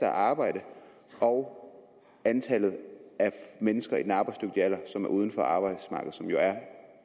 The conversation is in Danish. at arbejde og antallet af mennesker i den arbejdsdygtige alder som er uden for arbejdsmarkedet som jo er